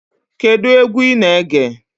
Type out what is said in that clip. Kedụ egwu ị na-ege?